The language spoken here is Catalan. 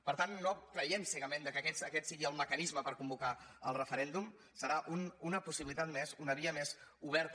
per tant no creiem cegament que aquest sigui el mecanisme per convocar el referèndum serà una possibilitat més una via més oberta